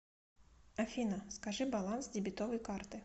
афина скажи баланс дебетовой карты